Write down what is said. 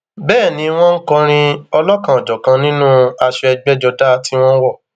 bẹẹ ni wọn ń kọrin ọlọkanòjọkan nínú aṣọ ẹgbẹjọdá tí wọn wọ